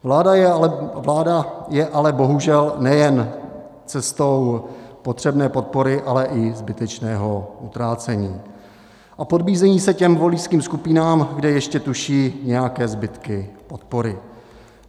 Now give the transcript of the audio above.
Vláda jde ale bohužel nejen cestou potřebné podpory, ale i zbytečného utrácení a podbízí se těm voličským skupinám, kde ještě tuší nějaké zbytky podpory.